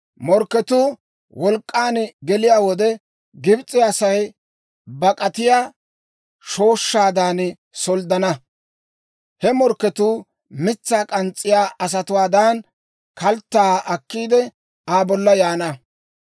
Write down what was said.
«Morkketuu wolk'k'an geliyaa wode, Gibs'e Asay bak'atiyaa shooshshaadan solddana; he morkketuu mitsaa k'ans's'iyaa asatuwaadan, kalttaa akkiide, Aa bolla yaana.